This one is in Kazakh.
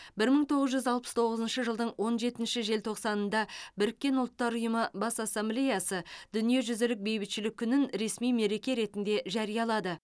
бір мың тоғыз жүз алпыс тоғызыншы жылдың он жетінші желтоқсанында біріккен ұлттар ұйымы бас ассамблеясы дүниежүзілік бейбітшілік күнін ресми мереке ретінде жариялады